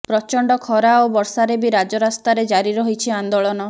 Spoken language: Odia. ପ୍ରଚଣ୍ଡ ଖରା ଓ ବର୍ଷାରେ ବି ରାଜରାସ୍ତାରେ ଜାରି ରହିଛି ଆନ୍ଦୋଳନ